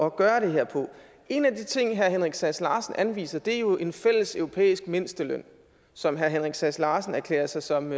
at gøre det her på en af de ting herre henrik sass larsen anviser er jo en fælles europæisk mindsteløn som herre henrik sass larsen erklærer sig som